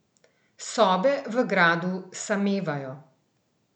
Sobe v gradu samevajo.